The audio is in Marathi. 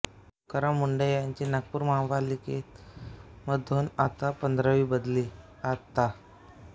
तुकाराम मुंढे यांची नागपुर महानगर पालिका मधून आता पंधरावी बदली आता